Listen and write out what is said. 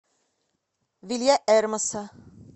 вильяэрмоса